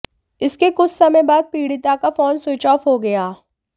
इसके कुछ समय बाद पीड़िता का फोन स्विच ऑफ हो गया